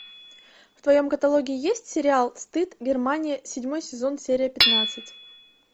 в твоем каталоге есть сериал стыд германия седьмой сезон серия пятнадцать